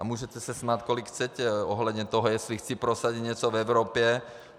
A můžete se smát kolik chcete ohledně toho, jestli chci prosadit něco v Evropě.